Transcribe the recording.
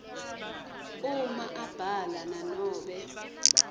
uma abhala nanobe